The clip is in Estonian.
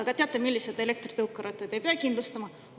Aga teate, milliseid elektritõukerattaid ei pea kindlustama?